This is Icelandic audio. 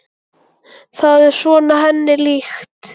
Það er svona henni líkt.